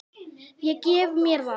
Ég gef mér það.